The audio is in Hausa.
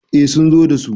eh sun zo da su